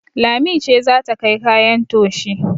Lami ce za ta kai kayan toshi